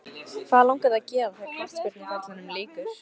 Hvað langar þig að gera þegar að knattspyrnuferlinum líkur?